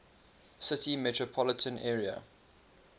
city metropolitan area